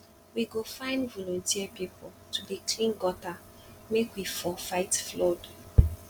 we go find voluteer pipu to dey clean gutter make we for fight flood